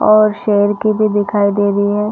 और शेर की भी दिखाई दे रही है।